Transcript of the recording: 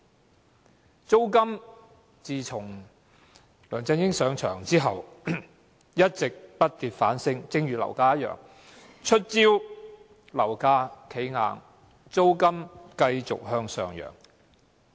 至於租金，自梁振英上任後一直不跌反升，就如樓價一樣。